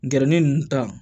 Gɛrɛni nunnu ta